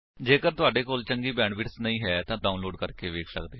ਜੇਕਰ ਤੁਹਾਡੇ ਕੋਲ ਚੰਗੀ ਬੈਂਡਵਿਡਥ ਨਹੀਂ ਹੈ ਤਾਂ ਤੁਸੀ ਇਸਨੂੰ ਡਾਉਨਲੋਡ ਕਰਕੇ ਵੇਖ ਸੱਕਦੇ ਹੋ